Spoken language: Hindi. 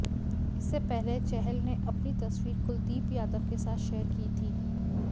इससे पहले चहल ने अपनी तस्वीर कुलदीप यादव के साथ शेयर की थी